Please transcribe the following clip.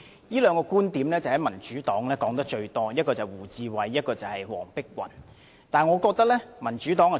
這個觀點，民主黨提得最多，一是胡志偉議員，二是黃碧雲議員。